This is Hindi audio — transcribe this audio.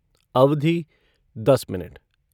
अवधि दस मिनट